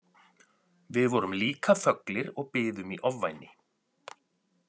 Við vorum líka þöglir og biðum í ofvæni.